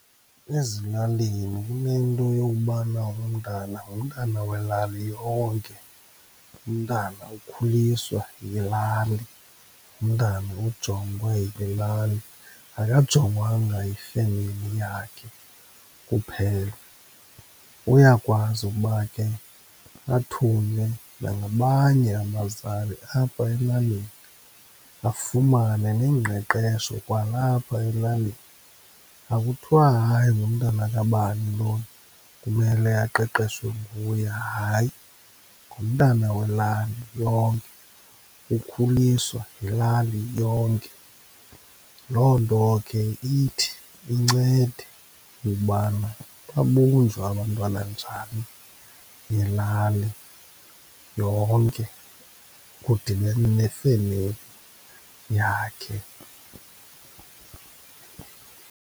Ezilalini inento yokubana umntana ngumntana ngowelali yonke, umntana ukhuliswa yilali, umntana ujongwe yile lali, akajongwangwa yifemeli yakhe kuphela. Uyakwazi ukuba ke athunywe nangabanye abazali apha elalini, afumane neengqeqesho kwalapha elalini. Akuthiwa hayi ngumntana kabani lona kumele aqeqeshwe nguye, hayi ngumntana welali yonke, ukhuliswa yilali yonke. Loo nto ke ithi incede ukubana babunjwa abantwana njani yilali yonke, kudibene nefemeli yakhe.